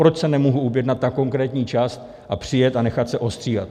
Proč se nemohu objednat na konkrétní čas a přijet a nechat se ostříhat?